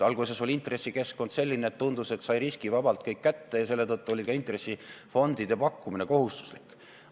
Alguses oli intressikeskkond selline, et tundus, et riskivabalt sai kõik kätte, ja seetõttu oli ka intressifondide pakkumine kohustuslik.